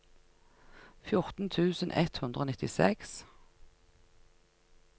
fjorten tusen ett hundre og nittiseks